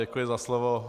Děkuji za slovo.